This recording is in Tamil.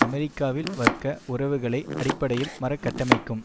அமெரிக்காவில் வர்க்க உறவுகளை அடிப்படையில் மறுகட்டமைக்கும்